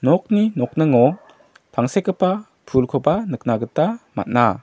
nokni nokningo tangsekgipa pulkoba nikna gita man·a.